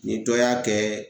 Ni dɔ y'a kɛ